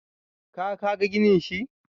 ka ka ga ginin shi?